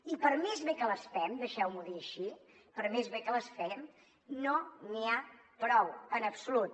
i per més bé que les fem deixeu m’ho dir així per més bé que les fem no n’hi ha prou en absolut